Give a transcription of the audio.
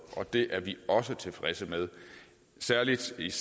og det er vi også tilfredse med særlig set